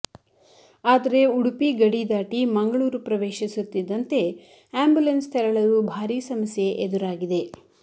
ಆದರೆ ಉಡುಪಿ ಗಡಿದಾಟಿ ಮಂಗಳೂರು ಪ್ರವೇಶಿಸುತ್ತಿದ್ದಂತೆ ಆಂಬುಲೆನ್ಸ್ ತೆರಳಲು ಭಾರಿ ಸಮಸ್ಯೆ ಎದುರಾಗಿದೆ